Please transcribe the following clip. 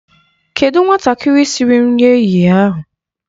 Kedụ nwatakịrị siri nri ehihie ahụ?